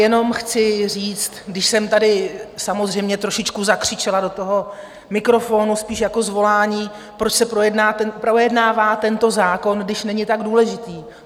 Jenom chci říct, když jsem tady samozřejmě trošičku zakřičela do toho mikrofonu spíš jako zvolání, proč se projednává tento zákon, když není tak důležitý?